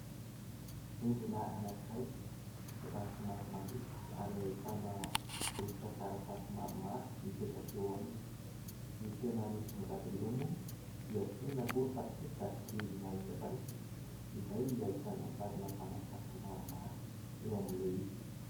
Rindrina anakiray, efa somary maloto ary ahitana rovitra taratasy maromaro mipetaka eo aminy, ny tena misongadina eo moa dia tsy inona moa fa peta-drindrina iray izay ahitana sarina mpanakanto maromaro eo amin'ilay izy.